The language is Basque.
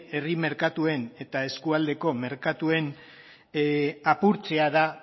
herri merkatuen eta eskualdeko merkatuen apurtzea da